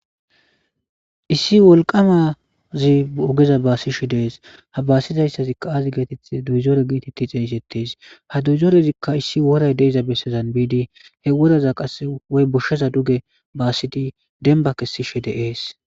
issi wolqamazi ogeza baasishe dees ha baasizayssazikka aazi geetethe duyzore giitetti xeeysettees ha duyzoorezikka issi woray deiza bessezan biidi he woraza qasse woy boshsheza duge baassidi demba kessishe de7ees